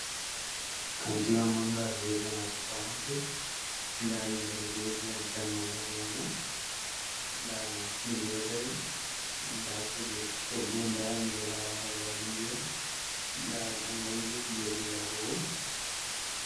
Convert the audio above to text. Kanti wa manga viyete nga supa maket. Nda himɓe ɗo jooɗi ha dammugal ma nga. Nda masinji ɗo dari. Nda kujeji coggu. Nda mi ɗo lara roobaji ndiyam, nda gongomji kujeji yarugo.